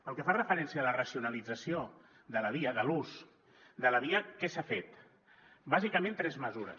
pel que fa referència a la racionalització de la via de l’ús de la via què s’ha fet bàsicament tres mesures